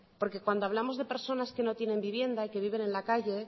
porque cuando hablamos de personas que no tiene vivienda y que viven en la calle